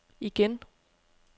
igen